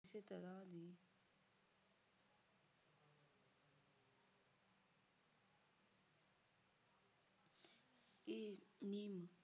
ਇਹ ਨਿੰਮ